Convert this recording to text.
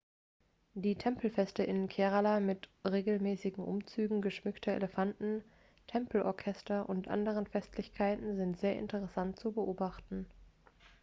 die tempelfeste in kerala mit regelmäßigen umzügen geschmückter elefanten tempelorchester und anderen festlichkeiten sind sehr interessant zu beobachten